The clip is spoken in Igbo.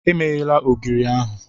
Emeghela ogiri ahụ!